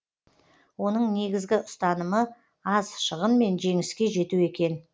оның негізгі ұстанымы аз шығынмен жеңіске жету екен